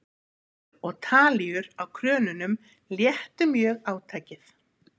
vindur og talíur á krönunum léttu mjög átakið